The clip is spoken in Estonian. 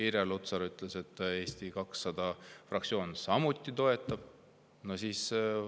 Irja Lutsar ütles, et Eesti 200 fraktsioon samuti toetab seda.